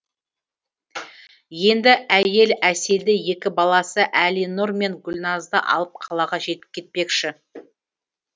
енді әйел әселді екі баласы әлинұр мен гүлназды алып қалаға кетпекші